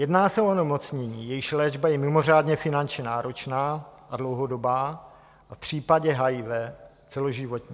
Jedná se o onemocnění, jejichž léčba je mimořádně finančně náročná a dlouhodobá a v případě HIV celoživotní.